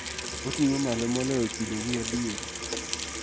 Oting�o malo moloyo kidogi adier.